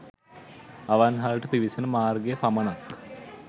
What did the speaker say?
අවන්හලට පිවිසෙන මාර්ගය පමණක්